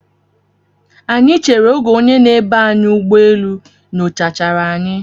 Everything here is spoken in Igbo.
Anyị chere oge onye na-eba anyị ụgbọ elu nyocha chara anyị.